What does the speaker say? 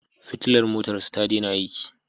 Fitilar motarsa ta daina aiki.